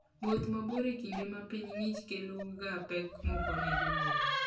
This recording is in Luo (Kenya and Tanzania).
Wuoth mabor e kinde ma piny ng'ich keloga pek moko ne jowuoth.